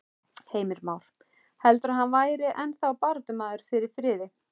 Heimir Már: Heldurðu að hann væri ennþá baráttumaður fyrir friði?